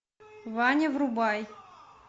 ваня врубай